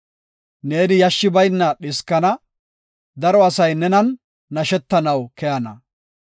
Neeni yashshi bayna dhiskana; daro asay nenan nashetanaw koyana.